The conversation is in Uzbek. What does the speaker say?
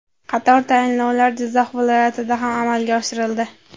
Qator tayinlovlar Jizzax viloyatida ham amalga oshirildi.